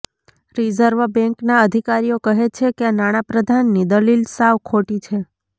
reserve બેન્કના અધિકારીઓ કહે છે કે નાણાપ્રધાનની દલીલ સાવ ખોટી છે